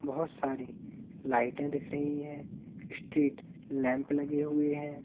बहोत सारी लाइटे दिख रही हैं स्ट्रीट लैंप लगे हुए हैं।